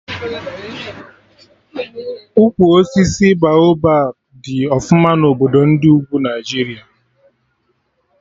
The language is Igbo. Ukwu osisi Baoba dị ọfụma na obodo ndị ugwu Naijiria